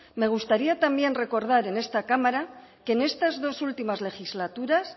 me gustaría también recordar en este cámara que en estas dos últimas legislaturas